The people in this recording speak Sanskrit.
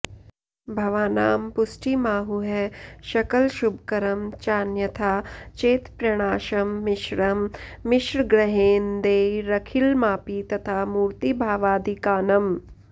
भावानां पुष्टिमाहुः सकलशुभकरं चान्यथा चेत्प्रणाशं मिश्रं मिश्रग्रहेन्दैरखिलमापि तथा मूर्तिभावादिकानाम्